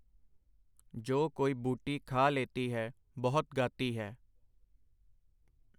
ਜੋ ਕੋਈ ਬੂਟੀ ਖਾ ਲੇਤੀ ਹੈ, ਬਹੁਤ ਗਾਤੀ ਹੈ.